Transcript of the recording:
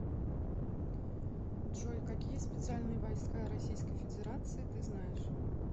джой какие специальные войска российской федерации ты знаешь